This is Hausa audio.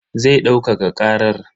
Zai daukaka karar.